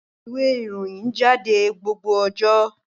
ìwé Ìròyìn jáde ní gbogbo ọjọ